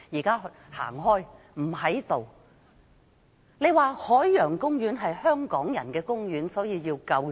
他說海洋公園是香港人的公園，所以要救濟。